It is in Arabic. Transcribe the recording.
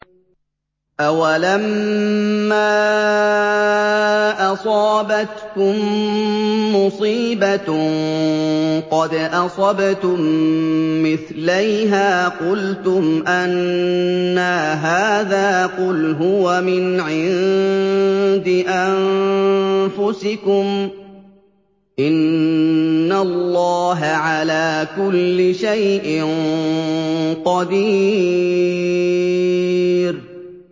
أَوَلَمَّا أَصَابَتْكُم مُّصِيبَةٌ قَدْ أَصَبْتُم مِّثْلَيْهَا قُلْتُمْ أَنَّىٰ هَٰذَا ۖ قُلْ هُوَ مِنْ عِندِ أَنفُسِكُمْ ۗ إِنَّ اللَّهَ عَلَىٰ كُلِّ شَيْءٍ قَدِيرٌ